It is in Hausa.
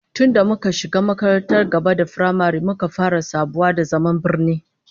Tun da muka shiga makarantar gaba da firamare muka fara sabawa da zaman birni